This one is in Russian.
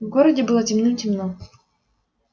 в городе было темным-темно